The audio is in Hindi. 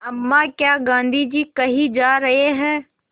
अम्मा क्या गाँधी जी कहीं जा रहे हैं